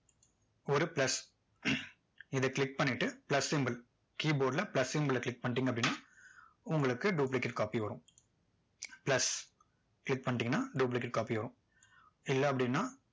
ஒரு plus இதை click பண்ணிட்டு plus symbol keyboard ல plus symbol ல click பண்ணிட்டீங்க அப்படின்னா உங்களுக்கு duplicate copy வரும் plus click பண்ணிட்டீங்கன்னா duplicate copy வரும் இல்ல அப்படின்னா